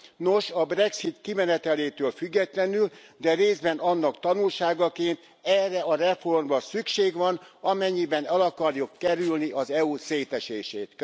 Nos, a brexit kimenetelétől függetlenül, de részben annak tanulságaként, erre a reformra szükség van, amennyiben el akarjuk kerülni az EU szétesését.